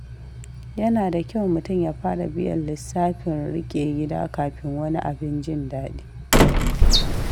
Yana da kyau mutum ya fara biyan lissafin riƙe gida kafin wani abin jin daɗi.